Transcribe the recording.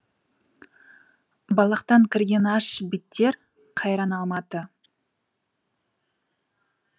балақтан кірген аш биттер қайран алматы